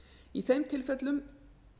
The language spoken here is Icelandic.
í þeim tilfellum